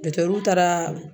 taara